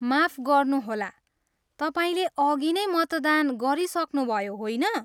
माफ गर्नुहोला, तपाईँले अघिनै मतदान गरिसक्नुभयो, होइन?